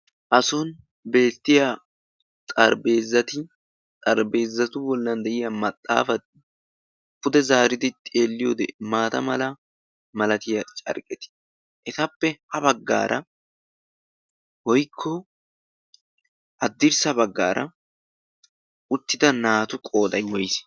a soni beettiya xarbezati xaribeezatu bollan de'iya maxaafa pude zaaridi xeelliyoo maata mala malatiyaa cargqetii etappe ha baggaara goikko addirssa baggaara uttida naatu qooday woyiise?